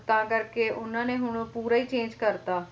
ਤਾਂ ਕਰਕੇ ਉਹਨਾਂ ਨੇ ਹੁਣ ਪੂਰਾ ਹੀ change ਕਰਤਾ